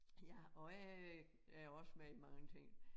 Ja og jeg er også med i mange ting